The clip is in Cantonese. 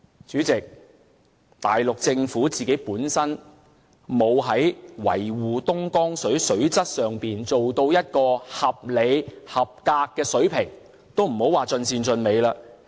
主席，內地政府沒有在維護東江水水質上做到一個合理、合格的水平，更別說盡善盡美了。